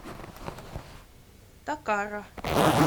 такара